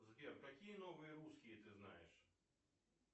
сбер какие новые русские ты знаешь